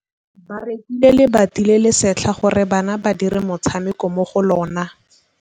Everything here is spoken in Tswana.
Ba rekile lebati le le setlha gore bana ba dire motshameko mo go lona.